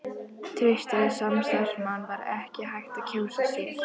Traustari samstarfsmann var ekki hægt að kjósa sér.